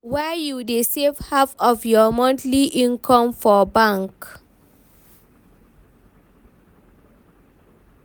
why you dey save half of you monthly income for bank?